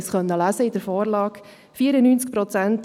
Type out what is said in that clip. Wir konnten in der Vorlage darüber lesen.